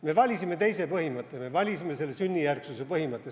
Me valisime teise põhimõtte, me valisime selle sünnijärgsuse põhimõtte.